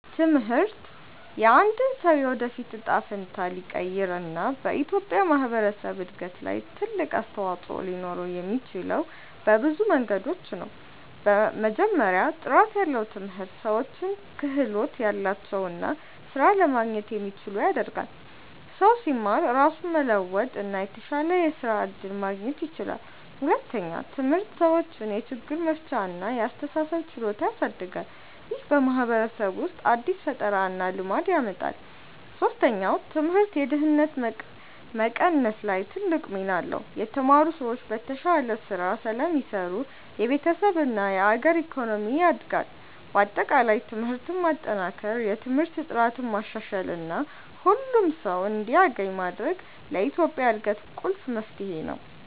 ትምህርት የአንድን ሰው የወደፊት እጣ ፈንታ ሊቀይር እና በኢትዮጵያ ማህበረሰብ እድገት ላይ ትልቅ አስተዋፅኦ ሊኖረው የሚችለው በብዙ መንገዶች ነው። መጀመሪያ፣ ጥራት ያለው ትምህርት ሰዎችን ክህሎት ያላቸው እና ስራ ለማግኘት የሚችሉ ያደርጋል። ሰው ሲማር ራሱን መለወጥ እና የተሻለ የስራ እድል ማግኘት ይችላል። ሁለተኛ፣ ትምህርት ሰዎችን የችግር መፍቻ እና የአስተሳሰብ ችሎታ ያሳድጋል። ይህ በማህበረሰብ ውስጥ አዲስ ፈጠራ እና ልማት ያመጣል። ሶስተኛ፣ ትምህርት የድህነት መቀነስ ላይ ትልቅ ሚና አለው። የተማሩ ሰዎች በተሻለ ስራ ስለሚሰሩ የቤተሰብ እና የአገር ኢኮኖሚ ያድጋል። በአጠቃላይ ትምህርትን ማጠናከር፣ የትምህርት ጥራትን ማሻሻል እና ሁሉም ሰው እንዲያገኝ ማድረግ ለኢትዮጵያ እድገት ቁልፍ መፍትሄ ነው።